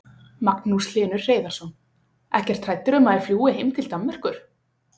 Magnús Hlynur Hreiðarsson: Ekkert hræddur um að þær fljúgi heim til Danmerkur?